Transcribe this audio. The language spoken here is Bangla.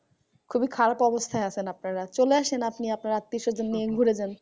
খুবই খারাপ অবস্থায় আছেন আপনারা। চলে আসেন আপনি আপনার আত্মীয় স্বজন নিয়ে ঘুরে যান।